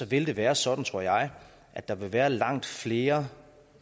vil være sådan tror jeg at der vil være langt flere